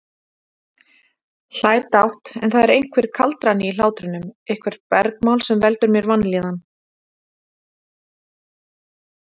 Hlær dátt, en það er einhver kaldrani í hlátrinum, eitthvert bergmál sem veldur mér vanlíðan.